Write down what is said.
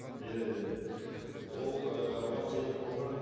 иә иә иә ол ы оған себеп болған